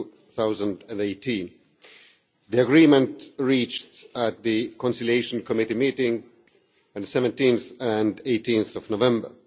2018. The agreement was reached at the Conciliation Committee meeting on 17 and 18 November.